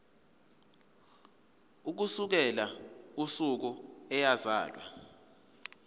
ukusukela usuku eyazalwa